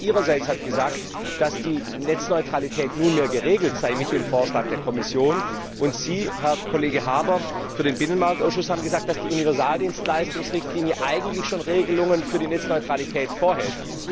Frau Kroes ihrerseits hat gesagt, dass die Netzneutralität nunmehr geregelt sei mit dem Vorschlag der Kommission, und Sie, Herr Kollege Harbour, haben für den Binnenmarktausschuss gesagt, dass die Universaldienstleistungsrichtlinie eigentlich schon Regelungen für die Netzneutralität enthält.